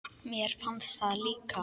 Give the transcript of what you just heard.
Mér fannst það líka.